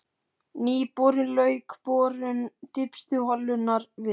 Nýi borinn lauk borun dýpstu holunnar við